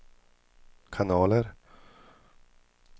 kanaler